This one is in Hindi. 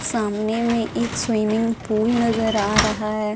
सामने में एक स्विमिंग पूल नजर आ रहा ह।